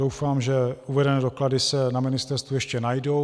Doufám, že uvedené doklady se na ministerstvu ještě najdou.